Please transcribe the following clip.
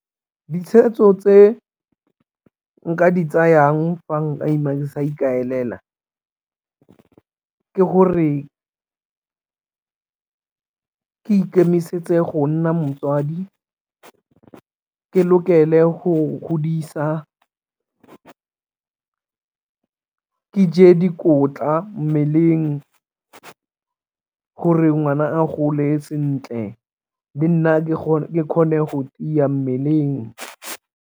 Ditshweetso tse nka di tsayang fa nka ima ke sa ikaelela ka ke gore ke ikemisetse go nna motswadi, ke lokele go godisa, ke ke dikotla mmeleng gore ngwana a gole sentle le nna ke kgone go tiya mmeleng.